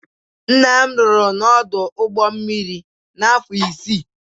Nna m rụrụ n'ọdụ ụgbo mmiri afọ isii.